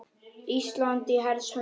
Ísland í hers höndum